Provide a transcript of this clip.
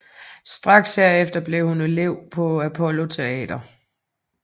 Straks herefter blev hun elev på Apollo Teatret